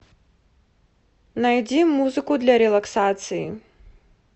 найди музыку для релаксации